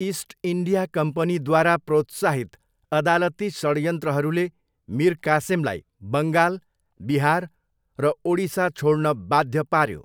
East India कम्पनीद्वारा प्रोत्साहित अदालती षड्यन्त्रहरूले मीर कासिमलाई बङ्गाल, बिहार र ओडिसा छोड्न बाध्य पार्यो।